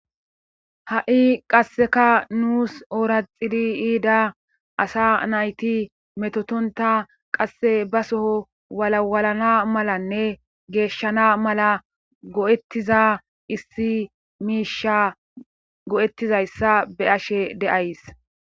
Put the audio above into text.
Ha'i qasseka nus oora xili yiida asa nayti metotonta qasse ba soho walawalana malanne geeshshana mala go'ettiza issi miisha go'ettizayssa beyashe deyays.